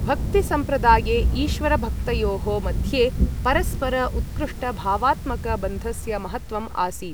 भक्ति सम्प्रदाये ईश्वरभक्तयोः मध्ये परस्पर उत्कृष्ट भावात्मक बन्धस्य महत्त्वम् आसीत्।